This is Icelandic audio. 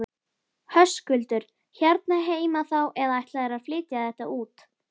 Höskuldur: Hérna heima þá eða ætlarðu að flytja þetta út?